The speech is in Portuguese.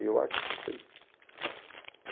Eu arquitetei.